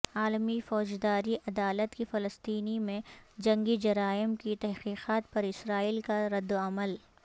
عالمی فوجداری عدالت کی فلسطین میں جنگی جرائم کی تحقیقات پر اسرائیل کا رد عمل